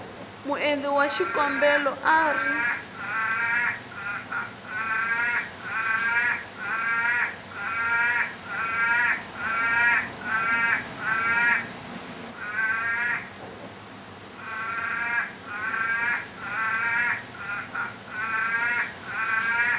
muendli wa xikombelo a ri